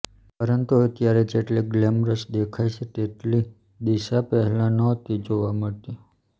પરંતુ અત્યારે જેટલી ગ્લેમરસ દેખાય છે તેટલી દિસા પહેલા નહોતી જોવા મળતી